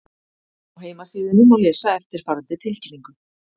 Á heimasíðunni má lesa eftirfarandi tilkynningu